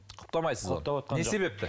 құптамайсыз ғой не себепті